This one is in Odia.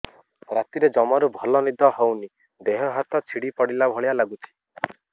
ରାତିରେ ଜମାରୁ ଭଲ ନିଦ ହଉନି ଦେହ ହାତ ଛିଡି ପଡିଲା ଭଳିଆ ଲାଗୁଚି